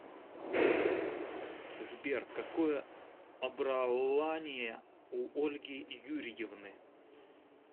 сбер какое обраование у ольги юрьевны